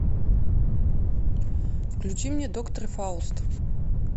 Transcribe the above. включи мне доктор фауст